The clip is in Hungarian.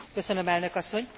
Elnök asszony!